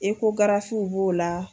Ekogarafiw b'o la.